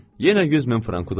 Yenə 100 min frank udacam.